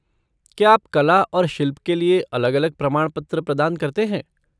क्या आप कला और शिल्प के लिए अलग अलग प्रमाणपत्र प्रदान करते हैं?